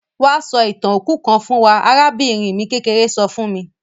Wa sọ ìtàn òkú kan fún wa; arabìnrin mi kékeré so fun mi.